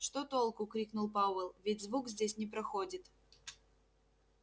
что толку крикнул пауэлл ведь звук здесь не проходит